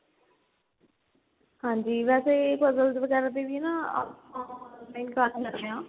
ਹਾਂਜੀ ਵੈਸੇ puzzles ਵਗੈਰਾ ਤੇ ਵੀ ਨਾ ਆਪਾਂ ਕਰ ਲੈਣੇ ਆ